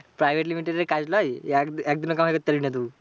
Private limited এর কাজ নয় যে এক একদিনও কামাই করতে পারবি না তুই।